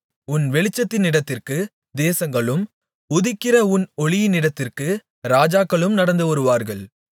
உன் வெளிச்சத்தினிடத்திற்கு தேசங்களும் உதிக்கிற உன் ஒளியினிடத்திற்கு ராஜாக்களும் நடந்து வருவார்கள்